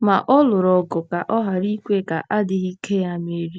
Ma ọ lụrụ ọgụ ka ọ ghara ikwe ka adịghị ike ya merie.